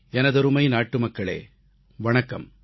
எனதருமை நாட்டுமக்களே வணக்கம்